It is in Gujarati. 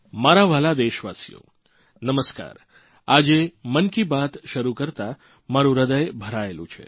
મારા વ્હાલા દેશવાસીઓ નમસ્કાર આજે મનકી બાત શરુ કરતા મારૂં હૃદય ભરાયેલુ છે